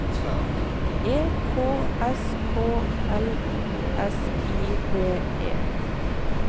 E K S K L U S I V E